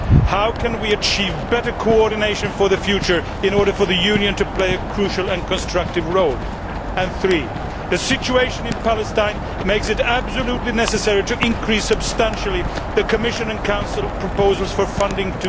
How can we achieve better coordination for the future in order for the Union to play a crucial and constructive role? Three, the situation in Palestine makes it absolutely necessary to increase substantially the Commission and Council proposals for funding